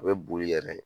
A bɛ boli yɛrɛ